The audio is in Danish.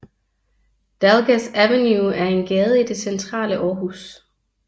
Dalgas Avenue er en gade i det centrale Aarhus